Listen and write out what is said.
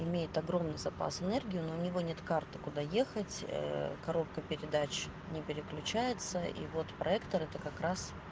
имеет огромный запас энергии но у него нет карты куда ехать ээ коробка передач не переключается и вот проектор это как раз